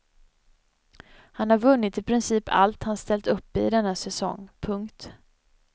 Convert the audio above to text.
Han har vunnit i princip allt han ställt upp i denna säsong. punkt